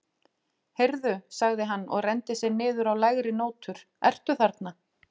Heyrðu, sagði hann og renndi sér niður á lægri nótur, ertu þarna?